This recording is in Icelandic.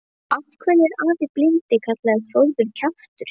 Af hverju er afi blindi kallaður Þórður kjaftur?